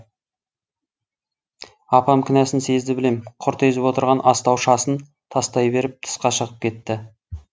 апам кінәсін сезді білем құрт езіп отырған астаушасын тастай беріп тысқа шығып кетті